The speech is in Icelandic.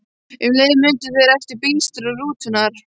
Um leið mundu þeir eftir bílstjóra rútunnar.